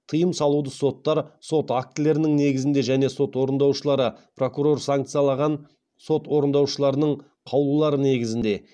тыйым салуды соттар сот актілерінің негізінде және сот орындаушылары прокурор санкциялаған сот орындаушыларының қаулылары негізінде